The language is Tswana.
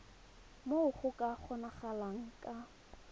moo go ka kgonagalang ka